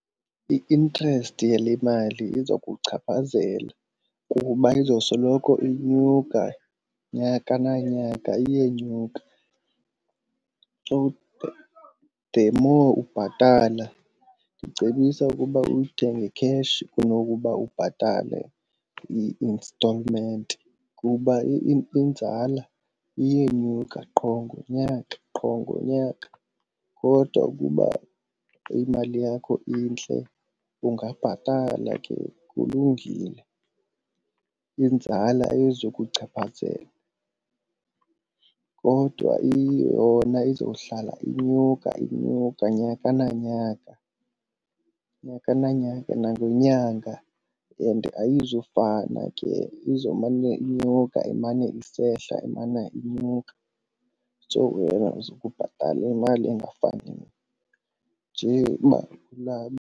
I-interest yale mali iza kuchaphazela kuba izosoloko inyuka, nyaka nanyaka iyenyuka. The more ubhatala ndicebisa ukuba uyithenge kheshi kunokuba ubhatale i-instalment kuba inzala iyenyuka qho ngonyaka qho ngonyaka. Kodwa ukuba imali yakho intle ungabhatala ke kulungile, inzala ayizukuchaphazela. Kodwa yona izohlala inyuka inyuka nyaka nanyaka, nyaka nanyaka, nangenyanga and ayizufana ke izomane inyuka imane isehla imana inyuka. So wena uzobe ubhatala imali engafaniyo nje .